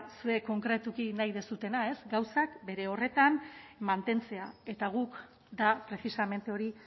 zuek konkretuki nahi duzuena gauzak bere horretan mantentzea eta guk da precisamente hori